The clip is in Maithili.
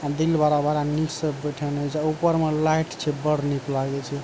दिल बड़ा-बड़ा नीक से बैठएना छै ऊपर मे लाइट छै बड़ निक़ लागे छै ।